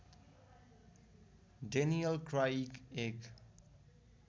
Daniel Craig एक